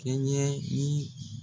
Kɛɲɛli